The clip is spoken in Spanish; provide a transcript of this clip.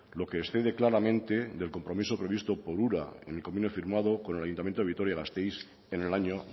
lo que excede claramente del compromiso previsto por ura en el convenio firmado con el ayuntamiento de vitoria gasteiz en el año